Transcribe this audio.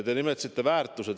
Te nimetasite väärtusi.